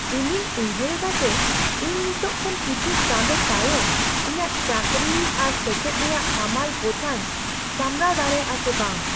ᱤᱧᱤᱧ ᱩᱭᱦᱟᱹᱨ ᱮᱫᱟ ᱡᱮ ᱤᱧ ᱱᱤᱛ ᱠᱷᱚᱱ ᱠᱤᱪᱷᱩ ᱪᱟᱸᱫᱳ ᱛᱟᱭᱚᱢ ᱤᱧᱟᱹᱜ ᱪᱟᱹᱠᱨᱤ ᱟᱨ ᱥᱮᱪᱮᱫ ᱨᱮᱭᱟᱜ ᱦᱟᱢᱟᱞ ᱵᱚᱡᱷᱟᱧ ᱥᱟᱢᱲᱟᱣ ᱫᱟᱲᱮᱭᱟᱜᱼᱟ ᱥᱮ ᱵᱟᱝ ᱾